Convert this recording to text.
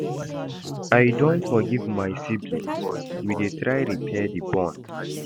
I don forgive my siblings, we dey try repair di bond.